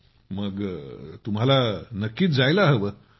ओहमग तर तुम्हाला नक्कीच जायला हवे